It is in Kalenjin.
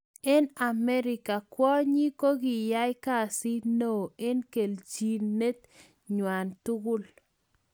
Eng amerika, kwonyik kokiai kasit neo eng keljinet nywa tugul .